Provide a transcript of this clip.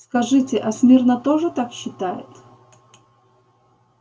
скажите а смирно тоже так считает